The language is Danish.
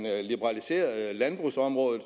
liberaliserede landbrugsområdet